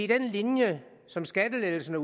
den linje som skattelettelserne